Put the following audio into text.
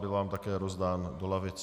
Byl vám také rozdán do lavic.